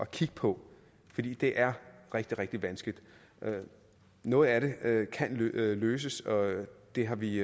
kigge på fordi det er rigtig rigtig vanskeligt noget af det kan løses løses det har vi